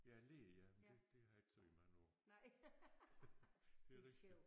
Ja læe ja men det det har jeg ikke sagt i mange år det er rigtigt